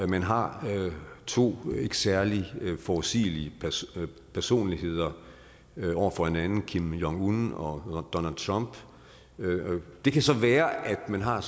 man har to ikke særlig forudsigelige personligheder over for hinanden kim jong un og donald trump det kan så være at man har